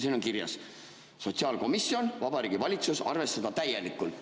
Siin on kirjas: "Sotsiaalkomisjon, Vabariigi Valitsus, arvestada täielikult.